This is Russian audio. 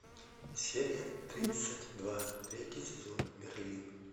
серия тридцать два третий сезон мерлин